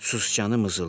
Sicanı mızıldadı.